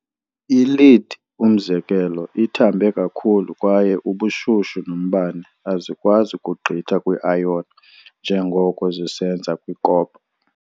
I-Lead, umzekelo, ithambe kakhulu, kwaye ubushushu nombane azikwazi kugqitha kwi-iron njengoko zisenza kwi-copper.